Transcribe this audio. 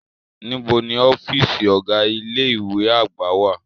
Nibo ni ọfiisi ọga ile-iwe agba wa?